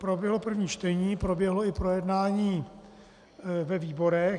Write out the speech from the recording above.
Proběhlo první čtení, proběhlo i projednání ve výborech.